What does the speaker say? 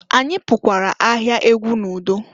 Anyị pukwara ahịa egwu n'udo.